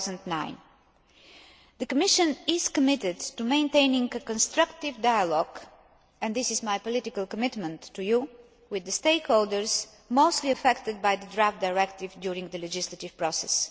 of 2009. The Commission is committed to maintaining a constructive dialogue and this is my political commitment to you with the stakeholders mostly affected by the draft directive during the legislative process.